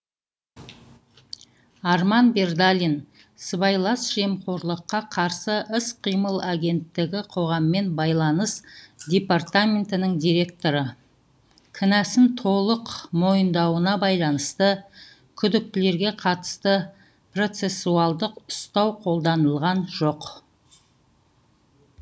арман бердалин сыбайлас жемқорлыққа қарсы іс қимыл агенттігі қоғаммен байланыс департаментінің директоры кінәсін толық мойындауына байланысты күдіктілерге қатысты процессуалдық ұстау қолданылған жоқ